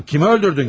Kimi öldürdün ki?